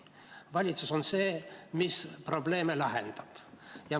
Valitsus on see, mis probleeme lahendab.